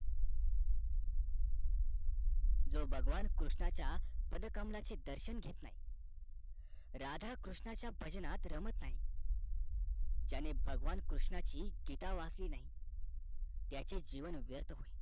जो भगवान कृष्णाचा पदकमळाचे दर्शन घेत नाही राधा कृष्णाचा भजनात रमत नाही ज्याने भगवान कृष्णची गीता वाचली नाही त्याचे जीवन व्यर्थ होईल